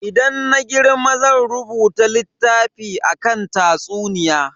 Idan na girma zan rubuta littafi akan tatsuniya.